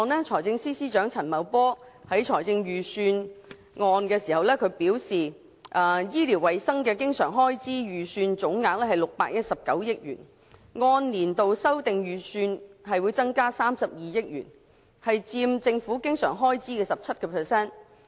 財政司司長亦在預算案表示，醫療衞生的經常開支預算總額為619億元，按年度修訂預算增加32億元，佔政府經常開支的 17%。